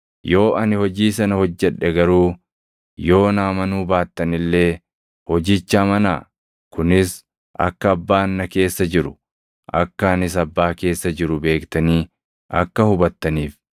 Yoo ani hojii sana hojjedhe garuu yoo na amanuu baattan illee hojicha amanaa; kunis akka Abbaan na keessa jiru, akka anis Abbaa keessa jiru beektanii akka hubattaniif.”